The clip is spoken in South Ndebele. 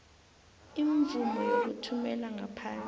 imvumo yokuthumela ngaphandle